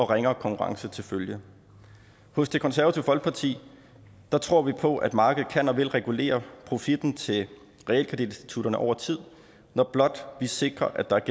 ringere konkurrence til følge hos det konservative folkeparti tror vi på at markedet kan og vil regulere profitten til realkreditinstitutterne over tid når blot vi sikrer at der er